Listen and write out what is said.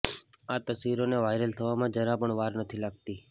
આ તસવીરોને વાયરલ થવામાં જરા પણ વાર નથી લાગતી